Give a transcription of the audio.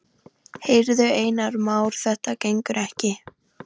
Heyrðu, Einar Már, þetta gengur ekki.